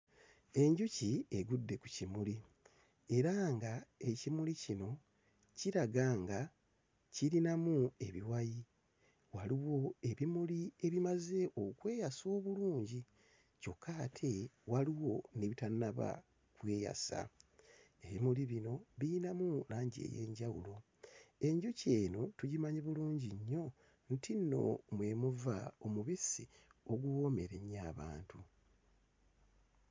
Enjuki egudde ku kimuli era nga ekimuli kino kiraga nga kirinamu ebiwayi, waliwo ebimuli ebimaze okweyasa obulungi, kyokka ate waliwo n'ebitannaba kweyasa, ebimuli bino biyinamu langi ey'enjawulo, enjuki eno tugimanyi bulungi nnyo nti nno mwe muva omubisi oguwoomera ennyo abantu.